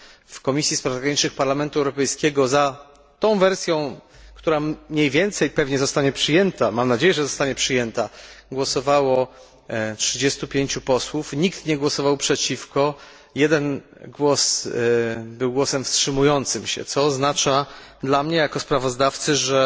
W Komisji Spraw Zagranicznych Parlamentu Europejskiego za tą wersją, która mniej więcej pewnie zostanie przyjęta mam nadzieję, że zostanie przyjęta głosowało 35 posłów, nikt nie głosował przeciwko, 1 głos był głosem wstrzymującym się, co oznacza dla mnie jako sprawozdawcy, że